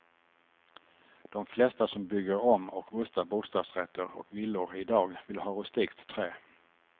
De flesta som bygger om och rustar bostadsrätter och villor i dag vill ha rustikt trä.